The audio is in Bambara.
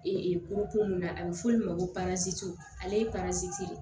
mun na a bɛ f'o de ma ko ale ye de ye